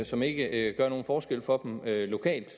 som ikke gør nogen forskel for dem lokalt